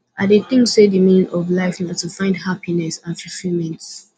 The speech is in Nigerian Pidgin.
i dey think say di meaning of life na to find happiness and fulfillment